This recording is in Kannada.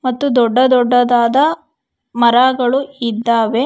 ಅತಿ ದೊಡ್ಡ ದೊಡ್ಡದಾದ ಮರಗಳು ಇದ್ದಾವೆ.